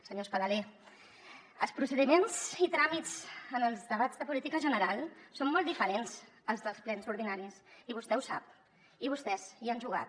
senyor espadaler els procediments i tràmits en els debats de política general són molt diferents als dels plens ordinaris i vostè ho sap i vostès hi han jugat